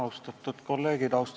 Austatud kolleegid!